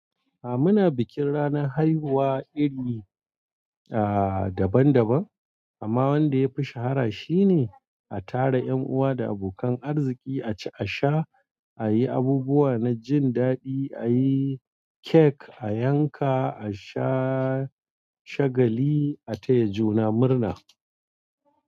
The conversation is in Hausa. A muna bikin ranar haihuwa iri, a, daban daban, amma wanda yafi shahara shine a tara 'yan uwa da abokan arziki a ci a sha, a yi abubuwa na jin daɗi, a yi cake a yanka, a sha shagali, a taya juna murna.